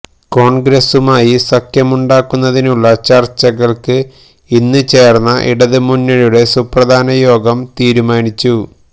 കോണ്ഗ്രസുമായി സഖ്യമുണ്ടാക്കുന്നതിനുള്ള ചര്ച്ചകള്ക്ക് ഇന്ന് ചേര്ന്ന ഇടതുമുന്നണിയുടെ സുപ്രധാന യോഗം തീരുമാനിച്ചു